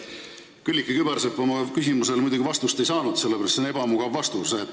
Külliki Kübarsepp oma küsimusele muidugi vastust ei saanud, sellepärast et see oleks ebamugav vastus.